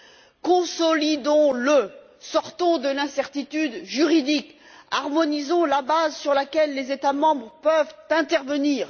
alors consolidons le! Sortons de l'incertitude juridique, harmonisons la base sur laquelle les États membres peuvent intervenir.